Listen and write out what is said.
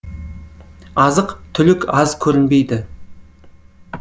азық түлік аз көрінбейді